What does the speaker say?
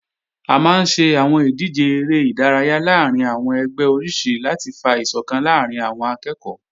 A máa ń ṣe àwọn ìdíje eré ìdárayá láàrín àwọn ẹgbẹ́ oríṣi láti fa ìsọ̀kan láàrín àwọn akẹ́ẹ̀kọ́